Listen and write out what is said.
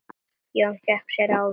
Jón fékk sér ávöxt.